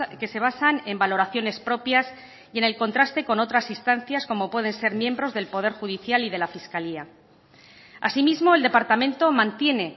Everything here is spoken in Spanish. que se basan en valoraciones propias y en el contraste con otras instancias como pueden ser miembros del poder judicial y de la fiscalía asimismo el departamento mantiene